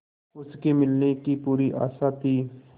उसके मिलने की पूरी आशा थी